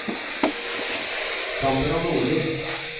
Sandra Nordli